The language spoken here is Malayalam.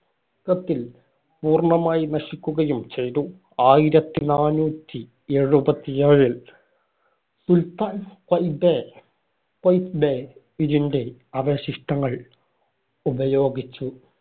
~കത്തില്‍ പൂർണമായി നശിക്കുകയും ചെയ്തു. ആയിരത്തി നാനൂറ്റി എഴുപത്തിയേഴിൽ സുൽത്താൻ ക്വയ്തെ ക്വെയ്ത്ബേ ഇതിന്‍റെ അവശിഷ്ടങ്ങൾ ഉപയോഗിച്ച്